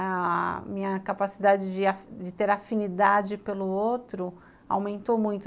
A minha capacidade de ter afinidade pelo outro aumentou muito.